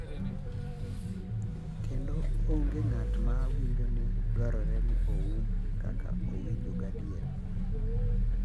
Kendo onge ng’at ma winjo ni dwarore ni oum kaka owinjo gadier.